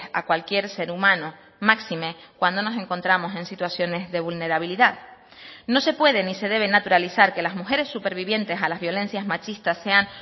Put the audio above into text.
a cualquier ser humano máxime cuando nos encontramos en situaciones de vulnerabilidad no se puede ni se debe naturalizar que las mujeres supervivientes a las violencias machistas sean